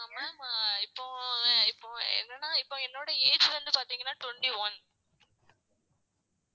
ஆஹ் ma'am இப்போ இப்போ என்னன்னா இப்போ என்னோட age வந்து பார்த்தீங்கன்னா twenty one